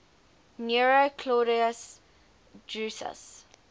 nero claudius drusus